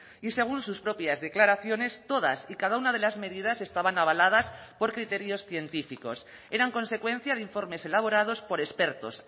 y según sus propias declaraciones todas y cada una de las medidas estaban avaladas por criterios científicos eran consecuencia de informes elaborados por expertos